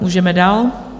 Můžeme dál.